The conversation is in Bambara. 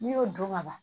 N'i y'o dɔn ka ban